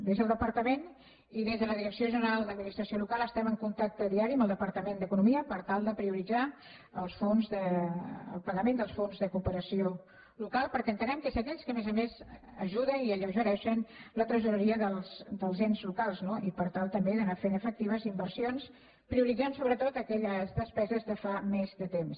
des del departament i des de la direcció general d’administració local estem en contacte diari amb el departament d’economia per tal de prioritzar el pagament dels fons de cooperació local perquè entenem que és d’aquells que a més a més ajuden i alleugereixen la tresoreria dels ens locals no i per tal també d’anar fent efectives inversions prioritzant sobretot aquelles despeses de fa més temps